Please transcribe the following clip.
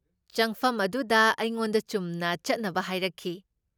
ꯆꯪꯐꯝ ꯑꯗꯨꯗ ꯑꯩꯉꯣꯟꯗ ꯆꯨꯝꯅ ꯆꯠꯅꯕ ꯍꯥꯏꯔꯛꯈꯤ ꯫